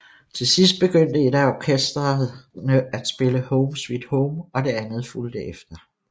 Til sidst begyndte et af orkestrene at spille Home Sweet Home og det andet fulgte efter